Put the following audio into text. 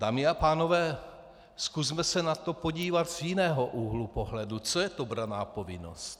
Dámy a pánové, zkusme se na to podívat z jiného úhlu pohledu: Co je to branná povinnost?